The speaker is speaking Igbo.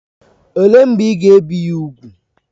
Olee mgbe ị ga-ebi ya úgwù?